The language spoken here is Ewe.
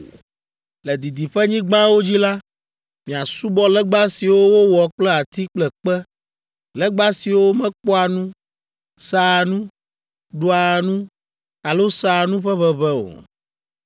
Le didiƒenyigbawo dzi la, miasubɔ legba siwo wowɔ kple ati kple kpe, legba siwo mekpɔa nu, sea nu, ɖua nu alo sea nu ƒe ʋeʋẽ o.